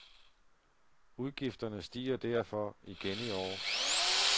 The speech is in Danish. Udgifterne stiger derfor igen i år.